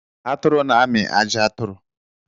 Atụrụ na-amị ajị aturu..